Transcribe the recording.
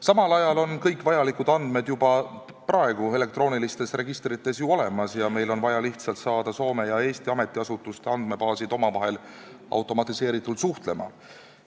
Samal ajal on kõik vajalikud andmed juba praegu elektroonilistes registrites ju olemas ja meil on vaja lihtsalt saada Soome ja Eesti ametiasutuste andmebaasid omavahel automatiseeritult suhtlema.